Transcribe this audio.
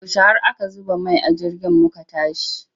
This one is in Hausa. Yaushe har aka zuba mai a jirgin muka tashi?